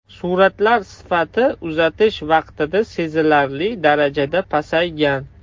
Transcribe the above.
Suratlar sifati uzatish vaqtida sezilarli darajada pasaygan.